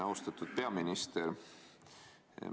Austatud peaminister!